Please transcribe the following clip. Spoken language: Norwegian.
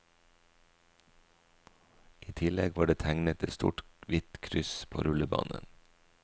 I tillegg var det tegnet et stort, hvitt kryss på rullebanen.